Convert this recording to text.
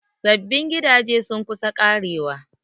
Sabbin gidaje sun kusa ƙarewa.